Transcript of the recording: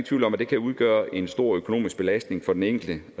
tvivl om at det kan udgøre en stor økonomisk belastning for den enkelte